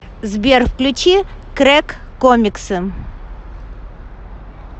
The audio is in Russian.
сбер включи крэк комиксы